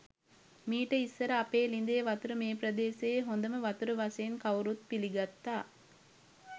මීට ඉස්‌සර අපේ ළිඳේ වතුර මේ ප්‍රදේශයේ හොඳම වතුර වශයෙන් කවුරුත් පිළිගත්තා.